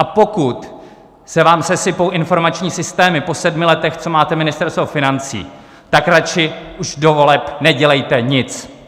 A pokud se vám sesypou informační systémy po sedmi letech, co máte Ministerstvo financí, tak radši už do voleb nedělejte nic.